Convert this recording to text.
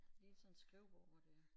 Lige sådan et skrivebord hvor det